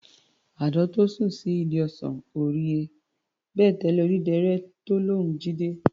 Àdán tó sùn sí ìdí ọsàn, ò rí he, bèlèté odídẹrẹ́ tó lóun jí dé.